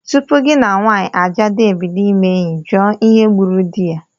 Tupu gị na nwanyị ajadu ebido ime enyi, jụọ ihe gburu di ya!